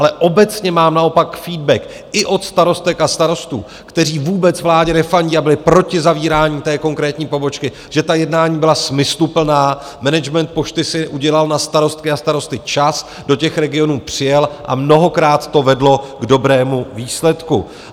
Ale obecně mám naopak feedback i od starostek a starostů, kteří vůbec vládě nefandí a byli proti zavírání té konkrétní pobočky, že ta jednání byla smysluplná, management Pošty si udělal na starosty a starostky čas, do těch regionů přijal a mnohokrát to vedlo k dobrému výsledku.